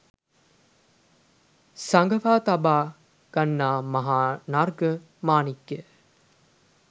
සඟවා තබා ගන්නා මහානර්ග මානික්‍යයක